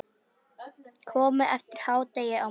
Komið eftir hádegi á morgun.